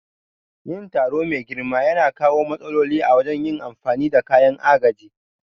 Yin taro mai girma yana kawo matsaloli a wajen yin amfani da kayan agaji.